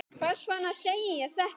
Hvers vegna segi ég þetta?